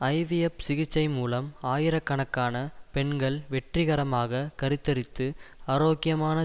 IVF சிகிச்சை மூலம் ஆயிரக்கணக்கான பெண்கள் வெற்றிகரமாக கருத்தரித்து ஆரோக்கியமான